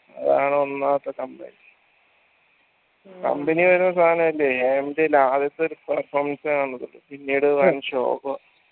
അതാണ് ഒന്നാമത്തെ complaint company തരുന്ന സാനല്ലേ എന്തെല് പിന്നീട് വൻ ശോകോ